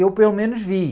Eu, pelo menos, vi.